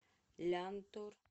лянтор